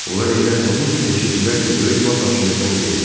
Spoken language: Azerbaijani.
Onlar elə həmin gün eşitdilər ki, böyük vat hakimiyyətdən gedib.